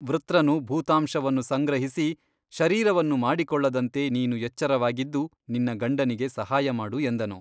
ವೃತ್ರನು ಭೂತಾಂಶವನ್ನು ಸಂಗ್ರಹಿಸಿ ಶರೀರವನ್ನು ಮಾಡಿಕೊಳ್ಳದಂತೆ ನೀನು ಎಚ್ಚರವಾಗಿದ್ದು ನಿನ್ನ ಗಂಡನಿಗೆ ಸಹಾಯ ಮಾಡು ಎಂದನು.